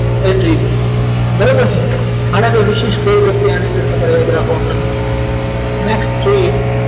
attribute બહુ સરસ આનાથી વિશેષ કોઈ વ્યક્તિ આવીને તમારું next જોઈએ